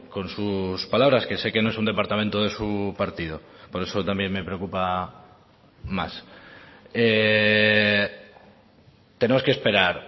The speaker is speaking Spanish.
con sus palabras que sé que no es un departamento de su partido por eso también me preocupa más tenemos que esperar